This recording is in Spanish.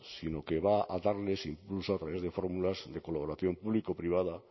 sino que va a darles impulso a través de fórmulas de colaboración público privada